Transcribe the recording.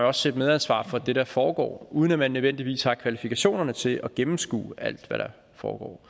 også et medansvar for det der foregår uden at man nødvendigvis har kvalifikationerne til at gennemskue alt hvad der foregår